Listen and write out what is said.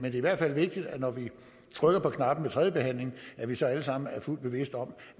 er i hvert fald vigtigt når vi trykker på knappen ved tredje behandling at vi så alle sammen er fuldt bevidste om